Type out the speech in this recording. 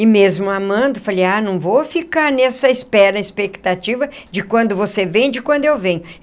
E mesmo amando, falei, ah, não vou ficar nessa espera, expectativa, de quando você vem, de quando eu venho.